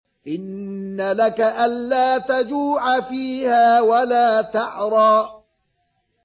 إِنَّ لَكَ أَلَّا تَجُوعَ فِيهَا وَلَا تَعْرَىٰ